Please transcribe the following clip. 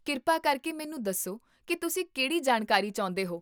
ਕਿਰਪਾ ਕਰਕੇ ਮੈਨੂੰ ਦੱਸੋ ਕੀ ਤੁਸੀਂ ਕਿਹੜੀ ਜਾਣਕਾਰੀ ਚਾਹੁੰਦੇ ਹੋ